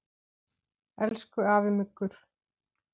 Elsku afi Muggur.